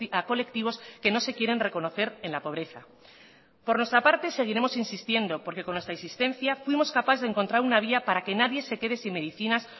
a colectivos que no se quieren reconocer en la pobreza por nuestra parte seguiremos insistiendo porque con nuestra insistencia fuimos capaces de encontrar una vía para que nadie se quede sin medicinas